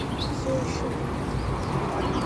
все еще будет